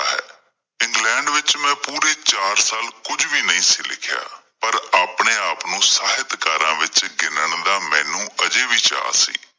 England ਵਿੱਚ ਮੈਂ ਪੂਰੇ ਚਾਰ ਸਾਲ ਕੁਝ ਵੀ ਨਹੀਂ ਸੀ ਲਿਖਿਆ, ਪਰ ਆਪਣੇ ਆਪ ਨੂੰ ਸਾਹਿਤਕਾਰਾਂ ਵਿੱਚ ਗਿਣਨ ਦਾ ਮੈਨੂੰ ਹਾਲੇ ਵੀ ਚਾਅ ਸੀ।